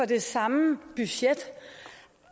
det samme budget